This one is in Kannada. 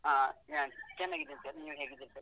ಹಾ ನಾನ್ ಚೆನ್ನಾಗಿದ್ದೇನೆ ಸರ್, ನೀವ್ ಹೇಗಿದ್ದೀರಾ ಸರ್?